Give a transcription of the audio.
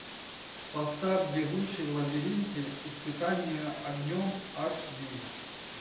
поставь бегущий в лабиринте испытание огнем аш ди